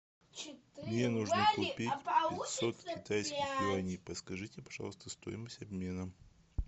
мне нужно купить пятьсот китайских юаней подскажите пожалуйста стоимость обмена